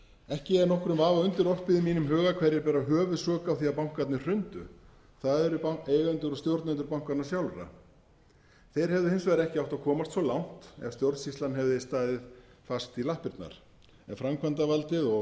ekki er nokkrum vafa undirorpið í mínum huga hverjir bera höfuðsök á því að bankarnir hrundu það eru eigendur og stjórnendur bankanna sjálfra þeir hefðu hins vegar ekki átt að komast svo langt ef stjórnsýslan hefði staðið fast í lappirnar en framkvæmdarvaldið og